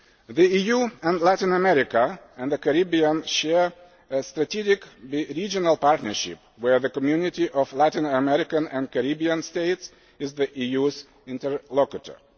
The EU and Latin America and the Caribbean share a strategic bi regional partnership, where the Community of Latin American and Caribbean States is the EU's interlocutor.